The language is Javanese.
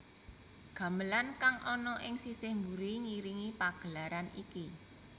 Gamelan kang ana ing sisih mburi ngiringi pagelaran iki